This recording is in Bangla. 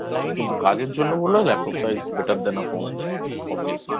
কিন্তু কাজের জন্য বললে Laptop Is Better Than A Phone Obviouslly